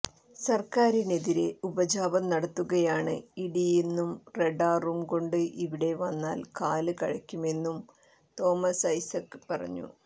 സർക്കാരിനെതിരെ ഉപജാപം നടത്തുകയാണ് ഇഡിയെന്നും റഡാറും കൊണ്ട് ഇവിടെ വന്നാൽ കാല് കഴയ്ക്കുമെന്നും തോമസ് ഐസക് പറഞ്ഞു